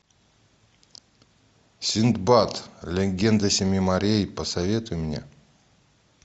синдбад легенда семи морей посоветуй мне